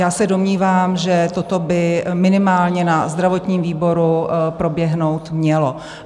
Já se domnívám, že toto by minimálně na zdravotním výboru proběhnout mělo.